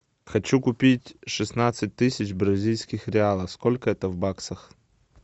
хочу купить шестнадцать тысяч бразильских реалов сколько это в баксах